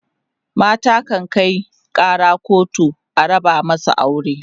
mata kan Kai Kara kotu a raba masu aure